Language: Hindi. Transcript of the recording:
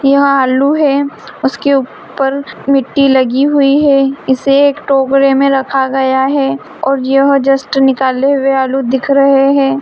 यह आलू है उसके ऊपर मिट्टी लगी हुई है इसे एक टोकरे में रखा गया है और यह जस्ट निकाले हुए आलू दिख रहे हैं।